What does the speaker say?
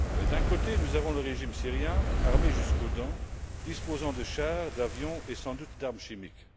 D'un côté, nous avons le régime syrien armé jusqu'aux dents, disposant de chars, d'avions et sans doute d'armes chimiques.